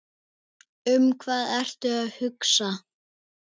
Um hvað ertu að hugsa?